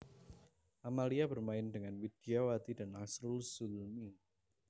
Amalia bermain dengan Widyawati dan Asrul Zulmi